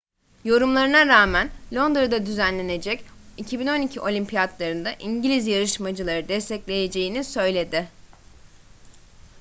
yorumlarına rağmen londra'da düzenlenecek 2012 olimpiyatları'nda i̇ngiliz yarışmacıları destekleyeceğini söyledi